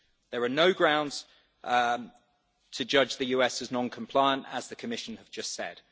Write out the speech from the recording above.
There are no grounds to judge the US as non-compliant, as the Commission has just said.